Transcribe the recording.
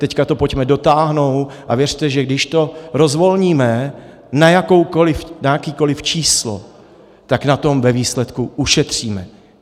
Teď to pojďme dotáhnout a věřte, že když to rozvolníme na jakékoli číslo, tak na tom ve výsledku ušetříme.